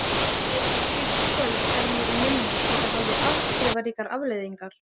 Eitt slíkt kvöld er mér í minni því það hafði afdrifaríkar afleiðingar.